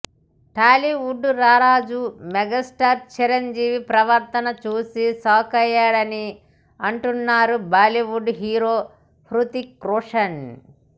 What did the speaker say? టాలీవుడ్ రారాజు మెగాస్టార్ చిరంజీవి ప్రవర్తన చూసి షాకయ్యానని అంటున్నారు బాలీవుడ్ హీరో హృతిక్ రోషన్